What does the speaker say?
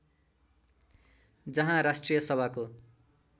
जहाँ राष्ट्रिय सभाको